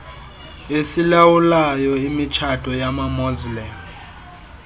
esilawulayo imitshato yamamuslim